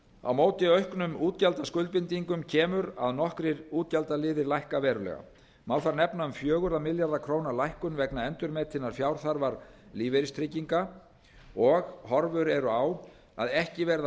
á móti auknum útgjaldaskuldbindingum kemur að nokkrir útgjaldaliðir lækka verulega má þar nefna um fjóra milljarða króna lækkun vegna endurmetinnar fjárþarfar lífeyristrygginga og horfur eru á að ekki verði af